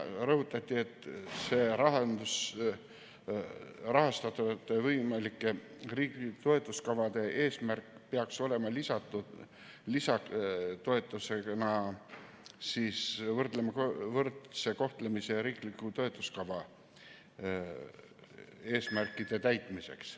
Rõhutati, et rahastatavate võimalike riiklike toetuskavade eesmärk peaks olema lisatoetus võrdse kohtlemise ja riikliku toetuskava eesmärkide täitmiseks.